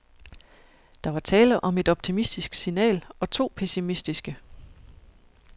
Der var tale om et optimistisk signal og to pessimistiske.